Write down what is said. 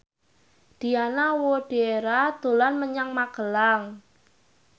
Diana Widoera dolan menyang Magelang